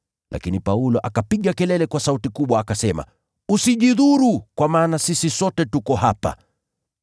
Lakini Paulo akapiga kelele kwa sauti kubwa, akasema, “Usijidhuru kwa maana sisi sote tuko hapa!”